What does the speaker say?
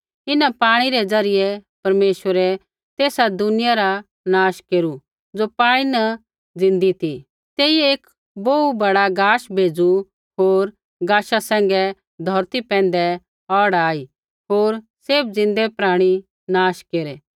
इन्हां पाणी रै ज़रियै परमेश्वरै तेसा दुनिया रा नाश केरू ज़ो पाणी न ज़िन्दी ती तेइयै एक बोहू बड़ा गाश भेज़ू होर गाशा सैंघै धौरती पैंधै बाड़ आई होर सैभ ज़िन्दै प्राणी नाश केरै